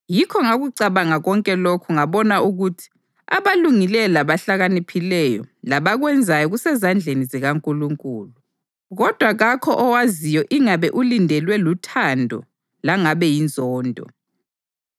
Yikho ngakucabanga konke lokhu ngabona ukuthi abalungileyo labahlakaniphileyo labakwenzayo kusezandleni zikaNkulunkulu, kodwa kakho owaziyo ingabe ulindelwe luthando langabe yinzondo.